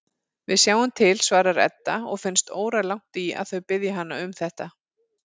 Við sjáum til, svarar Edda og finnst óralangt í að þau biðji hana um þetta.